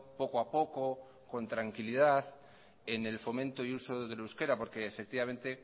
poco a poco con tranquilidad en el fomento y uso del euskera porque efectivamente